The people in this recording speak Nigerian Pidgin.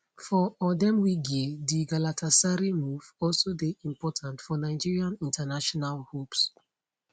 for odemwingie di galatasaray move also dey important for nigeria international hopes